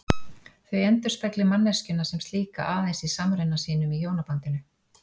Þau endurspegli manneskjuna sem slíka aðeins í samruna sínum í hjónabandinu.